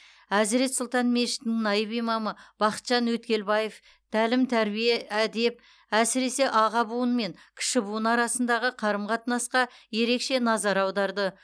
әзірет сұлтан мешітінің наиб имамы бақытжан өткелбаев тәлім тәрбие әдеп әсіресе аға буын мен кіші буын арасындағы қарым қатынасқа ерекше назар аударды